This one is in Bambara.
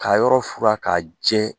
K'a yɔrɔ furan k'a jɛ